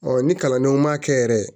ni kalandenw ma kɛ yɛrɛ